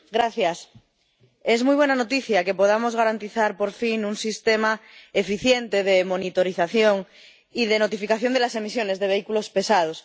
Señor presidente, es muy buena noticia que podamos garantizar, por fin, un sistema eficiente de monitorización y de notificación de las emisiones de vehículos pesados.